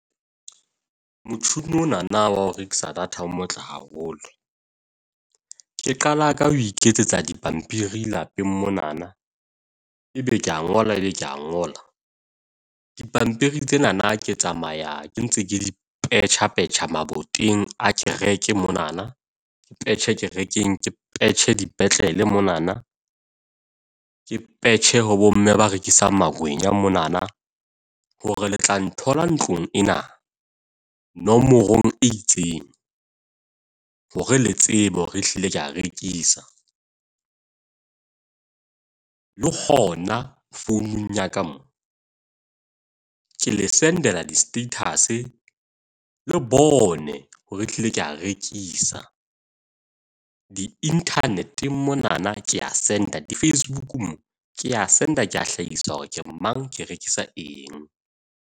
Motho onana wa ho rekisa data o motle haholo. Ke qala ka ho iketsetsa dipampiri lapeng monana, ebe ke a ngola, ebe ke a ngola. Dipampiri tsenana ke tsamaya ke ntse ke di petjhapetjha maboteng a kereke monana ke petjhe kerekeng, ke petjhe dipetlele monana. Ke petjhe ho bomme ba rekisang makwenya monana hore le tla nthola ntlong ena, nomorong e itseng. Hore le tsebe hore ehlile ke a rekisa. Le hona founung ya ka mo ke le send-ela di-status le bone hore ehlile ke a rekisa. Di-internet monana ke ya send-a. Di-Facebook mo ke a send-a. Ke a hlahisa hore ke mang ke rekisa eng.